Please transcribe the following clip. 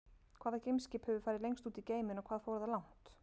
Hvaða geimskip hefur farið lengst út í geiminn og hvað fór það langt?